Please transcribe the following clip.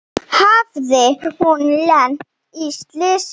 Hafði hún lent í slysi?